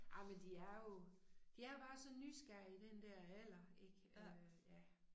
Ej men de er jo de er jo bare så nysgerrige i den dér alder ik øh ja